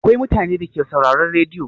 Akwai mutanen Dake sauraron rediyo?